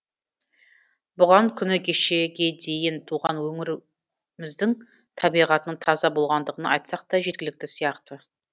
бұған күні кешеге дейін туған өңіріміздің табиғатының таза болғандығын айтсақ та жеткілікті сияқты